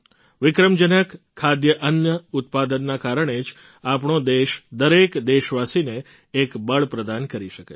વિક્રમજનક ખાદ્યાન્ન ઉત્પાદનના કારણે જ આપણો દેશ દરેક દેશવાસીને એક બળ પ્રદાન કરી શકે છે